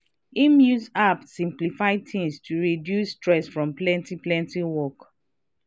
him use app simplify things to reduce stress from plenty plenty work.